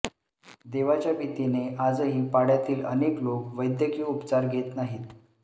देवाच्या भीतीने आजही पाडय़ातील अनेक लोक वैद्यकीय उपचार घेत नाहीत